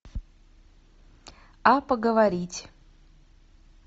а поговорить